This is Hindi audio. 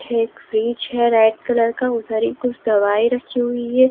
एक फ्रिज है रेड कलर का उधरी कुछ दवाई रखी हुई है।